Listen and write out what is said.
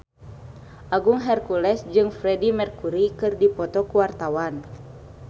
Agung Hercules jeung Freedie Mercury keur dipoto ku wartawan